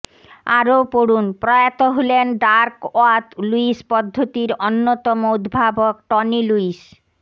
আরও পড়ুনঃপ্রয়াত হলেন ডার্কওয়াথ লুইস পদ্ধতির অন্যতম উদ্ভাবক টনি লুইস